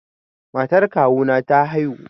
Matar kawu na ta haihu